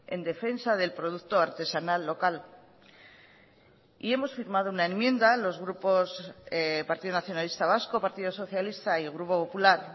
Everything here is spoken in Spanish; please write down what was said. en defensa del producto artesanal local y hemos firmado una enmienda los grupos partido nacionalista vasco partido socialista y el grupo popular